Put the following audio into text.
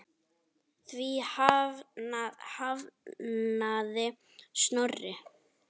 Því hafnaði Snorri.